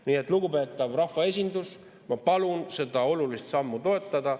Nii et, lugupeetav rahvaesindus, ma palun seda olulist sammu toetada.